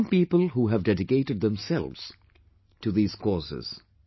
There are some people who have dedicated themselves to these causes